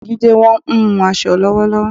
Ogbeni Jídé wọ́n ń hun aṣọ lọ́wọ́lọ́wọ́